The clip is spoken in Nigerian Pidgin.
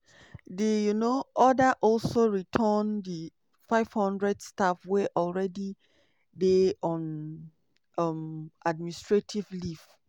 di um order also return di 500 staff wey already dey on um administrative leave.